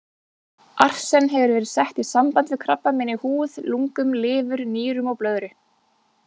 Arsen hefur verið sett í samband við krabbamein í húð, lungum, lifur, nýrum og blöðru.